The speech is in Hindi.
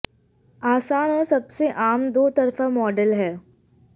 आसान और सबसे आम दो तरफा मॉडल है